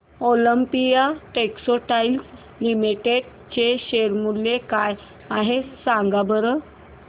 Olympia textiles limited चे share मूल्य काय आहे सांगा बरं